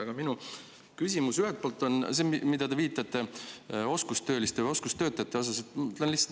Aga minu esimene küsimus puudutab seda, millele te viitasite, nimelt oskustöölisi.